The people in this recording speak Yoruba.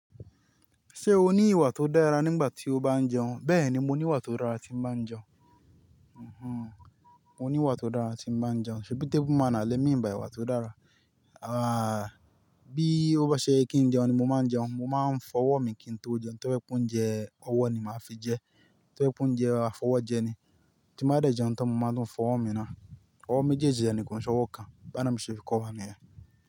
Ṣé o ní ìwà tó dára nígbà tí o bá ń jẹun? Bẹ́ẹ̀ni, mo ní ìwà tó dára tí ń bá jẹun. Oho, mo ní ìwà tó dára tí ń bá jẹun. Ṣebí table manner lẹ mín bai ìwà tó dára? Ah, bí ó bá ṣe yẹ kí ń jẹun ni mo máa ń jẹun. Mo máa ń fọwọ́ mi kí n tó jẹun, tó bá'ẹ pé óúnjẹ ọwọ́ ni màá fi jẹ, tó bá'ẹ pé óún jẹ afọwọ́jẹ ni. Tí mo bá dẹ̀ jẹun tán mo máa tùn fọwọ́ mi ná. Ọwọ́ méjèèjì dẹ̀ ni kò nṣẹ́ owọ́ kàn, b'ánàb ṣe fi kọ́wa niyen.